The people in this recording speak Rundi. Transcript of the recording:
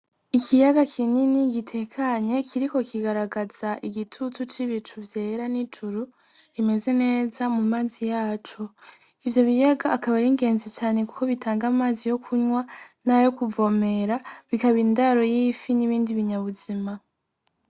Ikiyaga kinini igitekanye kiri ko kigaragaza igitutu c'ibicu vyera n'ijuru rimeze neza mu mazi yaco ivyo biyaga akaba aringenzi cane, kuko bitanga amazi yo kunywa nayo kuvomera bikaba indaro yifi n'ibindi binyabuzima.